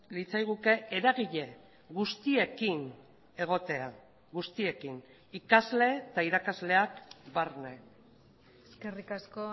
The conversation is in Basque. litzaiguke eragile guztiekin egotea guztiekin ikasle eta irakasleak barne eskerrik asko